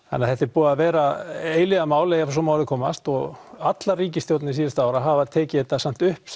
þannig að þetta er búið að vera eilífðarmál ef svo má að orði komast og allar ríkisstjórnir síðustu ára hafa tekið þetta samt upp